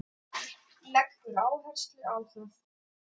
Leggur áherslu á það.